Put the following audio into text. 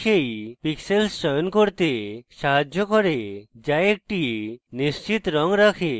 এটি সেই pixels চয়ন করতে সাহায্য করে যা একটি নিশ্চিত রঙ রাখে